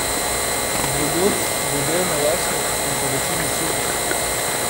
Drugod bo delno jasno in povečini suho.